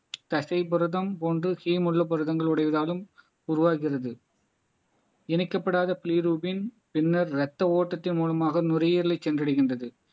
தசைபுரதம் போன்று ஹீம் உள்ள புரதங்கள் உடையவதாலும் உருவாகிறது இணைக்கப்படாத பின்னர் ரத்த ஓட்டத்தின் மூலமாக நுரையீரலை சென்றடைகின்றது